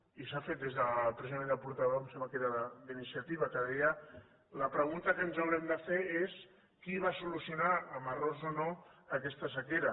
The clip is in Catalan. i s’ha fet des de precisament el portaveu em sembla que era d’iniciativa que deia la pregunta que ens haurem de fer és qui va solucionar amb errors o no aquesta sequera